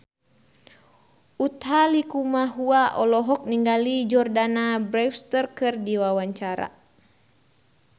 Utha Likumahua olohok ningali Jordana Brewster keur diwawancara